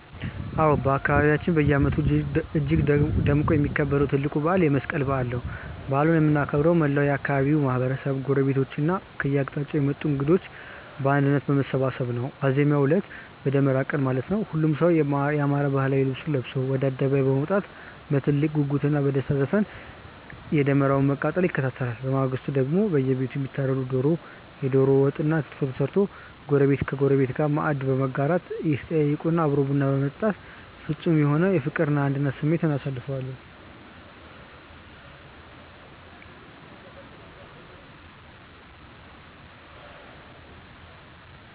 አዎ፣ በአካባቢያችን በየዓመቱ እጅግ ደምቆ የሚከበረው ትልቁ በዓል የመስቀል በዓል ነው። በዓሉን የምናከብረው መላው የአካባቢው ማህበረሰብ፣ ጎረቤቶችና ከየአቅጣጫው የመጡ እንግዶች በአንድነት በመሰባሰብ ሲሆን፣ ዋዜማው ዕለት (በደመራ ቀን) ሁሉም ሰው ያማረ ባህላዊ ልብሱን ለብሶ ወደ አደባባይ በመውጣት በትልቅ ጉጉትና በደስታ ዘፈን የደመራውን መቃጠል ይከታተላል። በማግስቱ ደግሞ በየቤቱ የሚታረደው ታርዶ፣ የደሮ ወጥና ክትፎ ተሰርቶ ጎረቤት ከጎረቤት ጋር ማዕድ በመጋራት፣ እየተጠያየቁና አብሮ ቡና በመጠጣት ፍጹም በሆነ የፍቅርና የአንድነት ስሜት እናሳልፈዋለን።